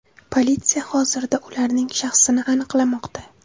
Politsiya hozirda ularning shaxsini aniqlamoqda.